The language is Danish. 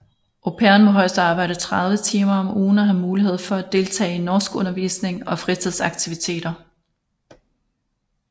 Au pairen må højst arbejde 30 timer om ugen og have mulighed for at deltage i norskundervisning og fritidsaktiviteter